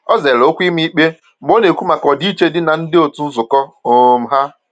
O zere okwu ịma ikpe mgbe ọ na-ekwu maka ọdịiche dị na ndi otu nzukọ um ha.